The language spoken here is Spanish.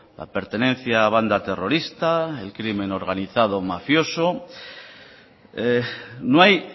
la pertenencia a banda terrorista el crimen organizado mafioso no hay